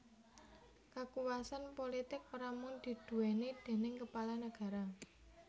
Kakuwasan pulitik ora mung diduwèni déning kepala nagara